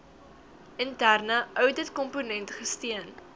interne ouditkomponent gesteun